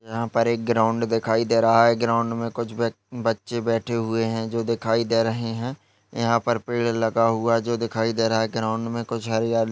यहां पर एक ग्राउन्ड दिखाई दे रहा है ग्राउन्ड मे कुछ बच -बच्चे बैठे हुए है जो दिखाई दे रहे है यहा पर पेड़ लगा हुआ है जो दिखाई दे रहा है ग्राउन्ड में कुछ हरियाली --